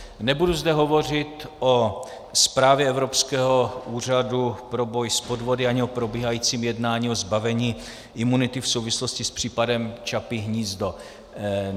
Nebudu zde hovořit o zprávě Evropského úřadu pro boj s podvody ani o probíhajícím jednání o zbavení imunity v souvislosti s případem Čapí hnízdo.